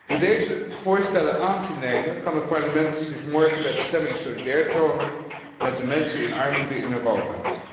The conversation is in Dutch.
Door deze voorstellen aan te nemen kan het Parlement zich morgen bij de stemming solidair tonen met de mensen in armoede in Europa.